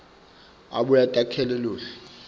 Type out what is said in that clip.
abuye atakhele luhlu